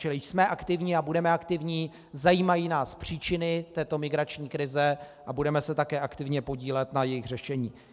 Čili jsme aktivní a budeme aktivní, zajímají nás příčiny této migrační krize a budeme se také aktivně podílet na jejich řešení.